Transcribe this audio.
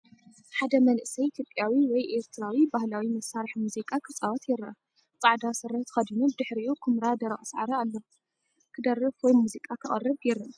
ሓደ መንእሰይ ኢትዮጵያዊ ወይ ኤርትራዊ ባህላዊ መሳርሒ ሙዚቃ ክጻወት ይረአ። ጻዕዳ ስረ ተኸዲኑ ብድሕሪኡ ኵምራ ደረቕ ሳዕሪ ኣለዎ። ክደርፍ ወይ ሙዚቃ ከቕርብ ይረአ።